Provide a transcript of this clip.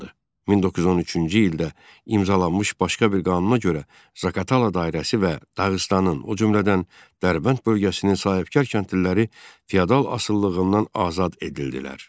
1913-cü ildə imzalanmış başqa bir qanuna görə Zaqatala dairəsi və Dağıstanın, o cümlədən Dərbənd bölgəsinin sahibkar kəndliləri feodal asılılığından azad edildilər.